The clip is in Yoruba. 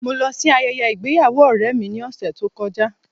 Mo lọ sí ayẹyẹ ìgbéyàwó ọ̀rẹ́ mi ní ọ̀sẹ̀ tó kọjá.